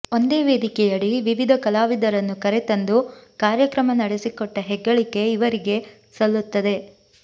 ಒಂದೇ ವೇದಿಕೆಯಡಿ ವಿವಿಧ ಕಲಾವಿದರನ್ನು ಕರೆತಂದು ಕಾರ್ಯಕ್ರಮ ನಡೆಸಿಕೊಟ್ಟ ಹೆಗ್ಗಳಿಕೆ ಇವರಿಗೆ ಸಲ್ಲುತ್ತದೆ